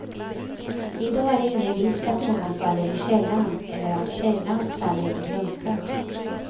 I dag är det ingen risk att någon faller i källan, eller att källan faller i glömska.